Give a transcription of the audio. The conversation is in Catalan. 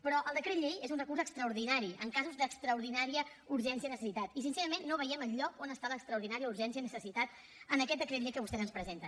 però el decret llei és un recurs extraordinari en casos d’extraordinària urgència i necessitat i sincerament no veiem enlloc on està l’extraordinària urgència i necessitat en aquest decret llei que vostès ens presenten